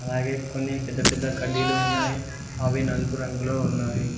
అలాగే కొన్ని పెద్ద పెద్ద కడ్డీలు ఉన్నాయి అవి నలుపు రంగులో ఉన్నాయి.